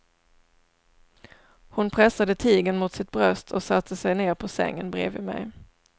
Hon pressade tigern mot sitt bröst och satte sig ner på sängen bredvid mig.